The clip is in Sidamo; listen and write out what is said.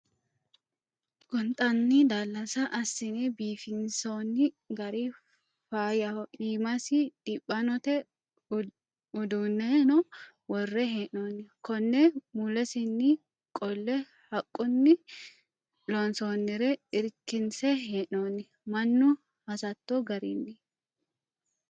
Gonxanni daalasa assine biifisi'nonni gari faayyaho iimasi diphanote uduuneno worre hee'nonni kone mulesinni qolle haqquni loonsonnire irkinse hee'nonni mannu hasatto garinni.